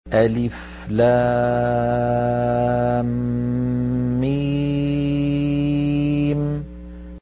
الم